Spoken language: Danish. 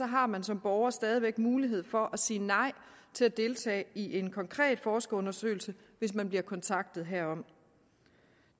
har man som borger stadig væk mulighed for at sige nej til at deltage i en konkret forskerundersøgelse hvis man bliver kontaktet herom